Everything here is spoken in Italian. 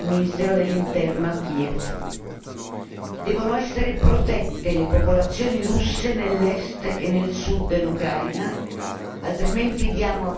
Devono essere protette le popolazioni russe nell'Est e nel Sud dell'Ucraina, altrimenti diamo a Putin tutte le ragioni di un'invasione.